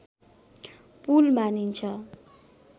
पुल मानिन्छ